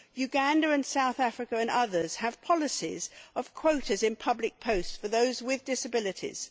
Uganda and South Africa and others have policies of quotas in public posts for those with disabilities.